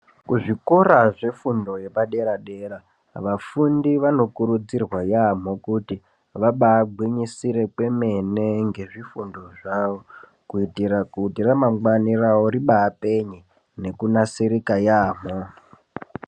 Kuzvikora zvefundo yepadera dera vafundi vanokurudzirwa yamho kuti vabagwinyisire kwemene nezvifundo zvavo kuitereni kuti ramangwani rawo ribapenye nekunasirika yamho.